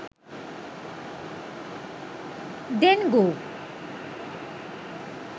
dengu